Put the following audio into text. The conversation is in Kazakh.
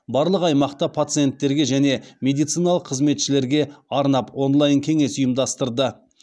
барлық аймақта пациенттерге және медициналық қызметшілерге арнап онлайн кеңес ұйымдастырды